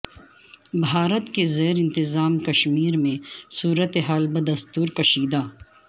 بھارت کے زیر انتظام کشمیر میں صورت حال بدستور کشیدہ